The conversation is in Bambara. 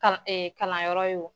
Kan kalanyɔrɔ ye o